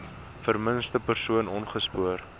vermiste persoon opgespoor